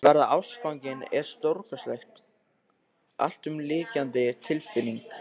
Að verða ástfanginn er stórkostleg, alltumlykjandi tilfinning.